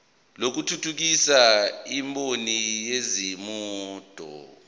lokuthuthukisa imboni yezimoto